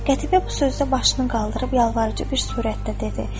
Qətibə bu sözdə başını qaldırıb yalvarıcı bir surətdə dedi: